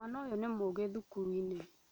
Mwana ũyũnĩ mũũgi thukuruinĩ